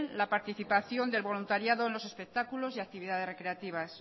la participación del voluntariado en los espectáculos y actividades recreativas